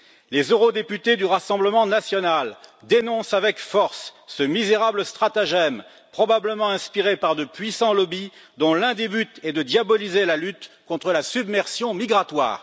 Les eurodéputés du Rassemblement national dénoncent avec force ce misérable stratagème probablement inspiré par de puissants lobbies, dont l'un des buts est de diaboliser la lutte contre la submersion migratoire.